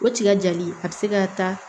O tiga jali a bɛ se ka taa